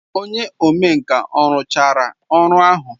Onye omenkà ọ rụchara ọrụ ahụ?